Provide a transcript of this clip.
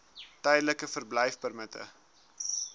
tydelike verblyfpermitte